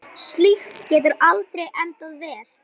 Slíkt getur aldrei endað vel.